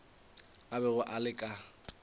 a bego a le ka